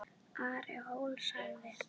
Ari hló lágt.